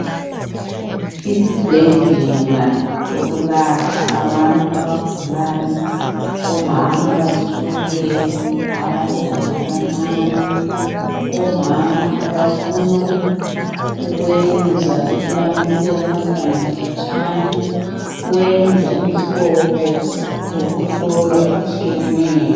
Isibhedlela sokulapha abantu abagulayo, omama abazithweleyo, abantwana abancani, omama abafunukwenza ukulamisela abantwana khatsnana kwenza imhlobo yokuhlolwa etshiyeneyo.